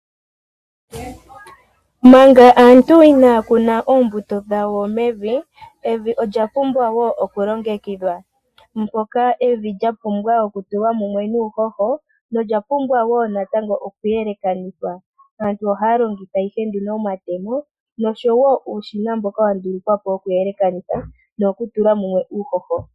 Manga aantu inaya kuna oombuto dhawo mevi, evi olya pumbwa wo okulongengidhwa. Mpoka evi lya pumbwa okutulwa mumwe nuuhoho nolya pumbwa wo natango okuyelekanithwa. Aantu ohaya longitha ihe omatemo noshowo uusbina mboka wa ndulukwa po wokuyelekanitha nowo ku tula mo uuhoho.